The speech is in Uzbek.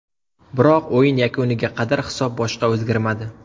Biroq o‘yin yakuniga qadar hisob boshqa o‘zgarmadi.